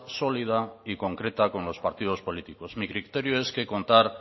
sólida y concreta con los partidos políticos mi criterio es que contar